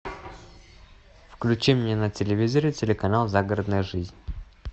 включи мне на телевизоре телеканал загородная жизнь